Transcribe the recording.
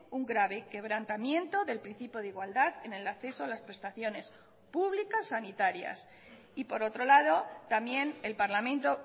un grave quebrantamiento del principio de igualdad en el acceso a las prestaciones públicas sanitarias y por otro lado también el parlamento